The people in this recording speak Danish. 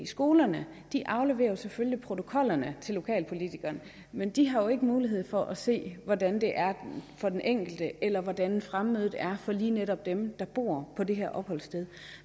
skolerne afleverer selvfølgelig protokollerne til lokalpolitikerne men de har jo ikke mulighed for at se hvordan det er for den enkelte eller hvordan fremmødet er for lige netop dem der bor på det her opholdssted